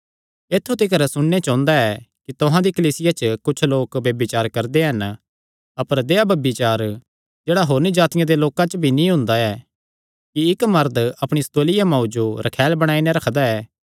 ऐत्थु तिकर सुणने च ओंदा ऐ कि तुहां दी कलीसिया च कुच्छ लोक ब्यभिचार करदे हन अपर देहया ब्यभिचार जेह्ड़ा होरनी जातिआं दे लोकां च भी नीं हुंदा ऐ कि इक्क मरद अपणिया सौतेलिया मांऊ जो रखैल बणाई नैं रखदा ऐ